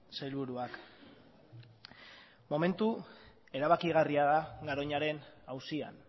sailburuak momentu erabakigarria da garoñaren auzian